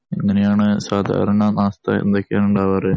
എങ്ങനെയാണ് സാധാരണ നാസ്ത എന്തൊക്കെയാണ് ഉണ്ടാവാറു